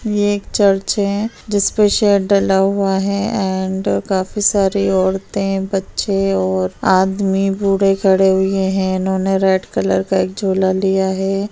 ये एक चर्च है जिस पे शेड डला हुआ है एंड काफी सारी औरतें बच्चे और आदमी बूढ़े खड़े हुए हैं | इन्होने रेड कलर का एक झोला लिया हुआ है।